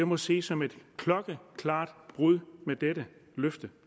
må ses som et klokkeklart brud med dette løfte